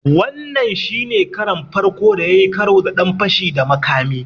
Wannan shi ne karon farko da ya yi karo da wani ɗan fashi da makami.